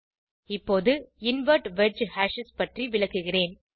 இப்போது invert wedge hashes பற்றி விளக்குகிறேன்